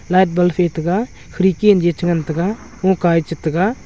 ataga khirki chengan taga chataga.